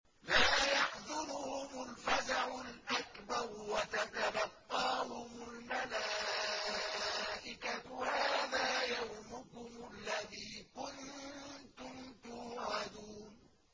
لَا يَحْزُنُهُمُ الْفَزَعُ الْأَكْبَرُ وَتَتَلَقَّاهُمُ الْمَلَائِكَةُ هَٰذَا يَوْمُكُمُ الَّذِي كُنتُمْ تُوعَدُونَ